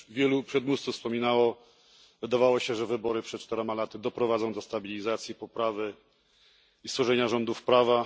Jak już wielu przedmówców wspominało, wydawało się, że wybory przed czterema laty doprowadzą do stabilizacji, poprawy i stworzenia rządów prawa.